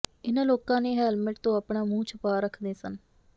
ਇਨ੍ਹਾਂ ਲੋਕਾਂ ਨੇ ਹੈਲਮੇਟ ਤੋਂ ਆਪਣਾ ਮੂੰਹ ਛੁਪਾ ਰੱਖੇ ਸਨ